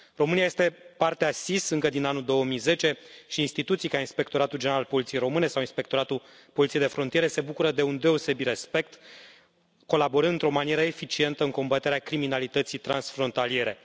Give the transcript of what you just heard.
România este parte a SIS încă din anul 2010 și instituții ca Inspectoratul General al Poliției Române sau Inspectoratul Poliției de Frontieră se bucură de un deosebit respect colaborând într o manieră eficientă în combaterea criminalității transfrontaliere.